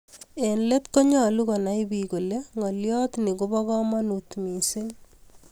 eng let ko nyalun komai bik kole ngaliot ni kobo kamangut mising